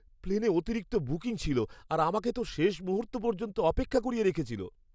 প্লেনে অতিরিক্ত বুকিং ছিল, আর আমাকে তো শেষ মুহূর্ত পর্যন্ত অপেক্ষা করিয়ে রেখেছিল।